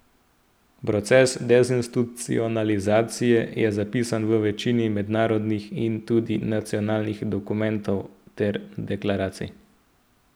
Proces dezinstitucionalizacije je zapisan v večini mednarodnih in tudi nacionalnih dokumentov ter deklaracij.